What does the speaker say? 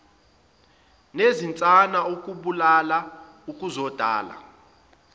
nezinsana ukubulalana ukuzondana